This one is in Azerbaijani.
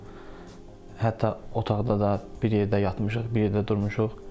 Hətta otaqda da bir yerdə yatmışıq, bir yerdə durmuşuq.